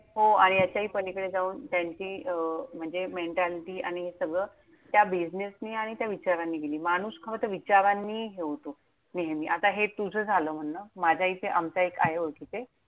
हो आणि याच्याही पलीकडे जाऊन त्यांची म्हणजे Mentality आणि हे सगळं त्या बिजनेसने आणि त्या विचारांनी दिली. माणूस खरं तर विचारांनी हे होतो, नेहमी. आता हे तुझं झालं म्हणणं. माझ्या इथे आमचा एक आहे ओळखीचे.